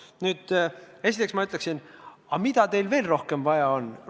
Nüüd, esiteks ma küsiksin, et mida rohkemat teil veel vaja on.